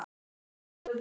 Skemmtilegasti tíminn?